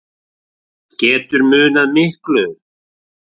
Getur munað miklu